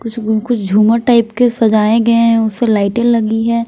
कुछ कुछ झूमर टाइप के सजाए गए हैं उससे लाइटें लगी है।